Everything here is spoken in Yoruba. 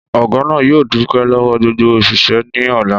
Ọ̀gá náà yóò dúpẹ́ lọ́wọ́ gbogbo òṣìṣẹ́ ní ọ̀la